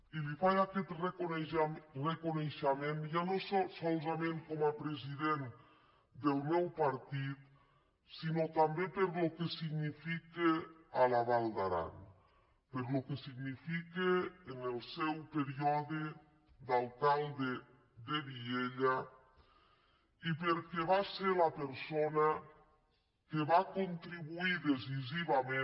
i li faig aquest reconeixement ja no solament com a pre·sident del meu partit sinó també pel que significa a la val d’aran pel que significa en el seu període d’alcal·de de vielha i perquè va ser la persona que va contri·buir decisivament